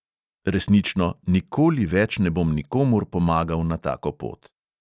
Resnično, nikoli več ne bom nikomur pomagal na tako pot …